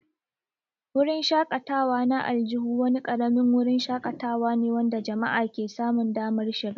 Wurin shakatawa na aljihu wani ƙaramin wurin shakatawa ne wanda jama'a ke samun damar shiga.